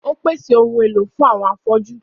Ó pèsè àwọn ohun èlò fún àwọn afọ́jú.